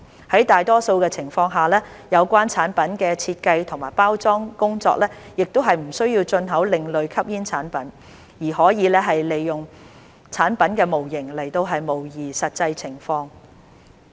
在大多數的情況下，有關產品的設計及包裝工作亦不需要進口另類吸煙產品，而可以利用產品模型來模擬實際情況。